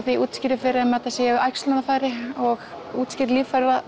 útskýri fyrir þeim að þetta séu æxlunarfæri og útskýri líffræðina